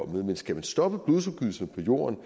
men skal man stoppe blodsudgydelserne på jorden